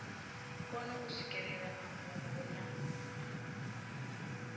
kone u swikelela mafhungo na